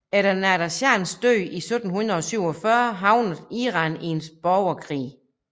Efter Nader Shahs død i 1747 havnede Iran i en borgerkrig